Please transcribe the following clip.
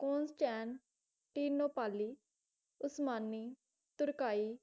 ਕੋਸਟੈਂਟਟਿਨੋਪਾਲੀ ਉਸਮਾਨੀ ਤੁਰਕਾਈ